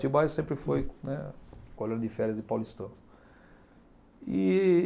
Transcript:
Atibaia sempre foi, né, colônia de férias de paulistano.